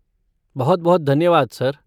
बहुत बहुत धन्यवाद, सर।